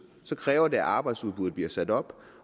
så kræver det at arbejdsudbuddet bliver sat op